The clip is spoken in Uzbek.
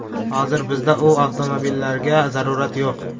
Hozir bizda bu avtomobillarga zarurat yo‘q.